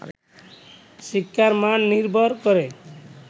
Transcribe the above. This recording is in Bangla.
শিক্ষার মান নির্ভর করে